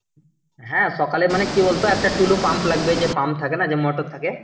হ্যাঁ সকালে মানে কি বল তো একটা tulu pump লাগবে যে pump থাকে না যে মোটর থাকে।